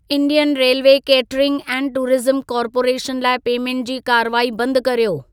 Indian railway catering and tourism corporation लाइ payment जी कार्रवाई बंद कर्यो।